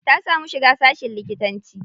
Ta samu shiga sashin likitanci.